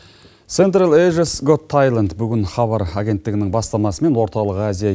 централ эжес гот тэйленд бүгін хабар агенттігінің бастамасымен орталық азия